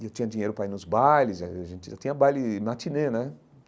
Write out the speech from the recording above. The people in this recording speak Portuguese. E eu tinha dinheiro para ir nos bailes, eu tinha baile matinê, né?